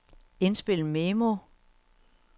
indspil memo